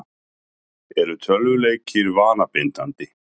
Eru tölvuleikir vanabindandi?